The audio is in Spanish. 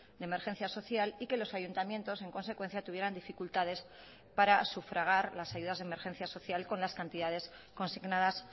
de emergencia social y que los ayuntamientos en consecuencia tuvieran dificultades para sufragar las ayudas de emergencia social con las cantidades consignadas